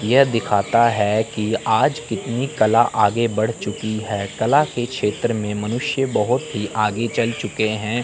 यह दिखाता है कि आज कितनी कला आगे बढ़ चुकी है कला के क्षेत्र में मनुष्य बहोत ही आगे चल चुके हैं।